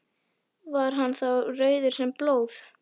Var hann þá rauður sem blóð.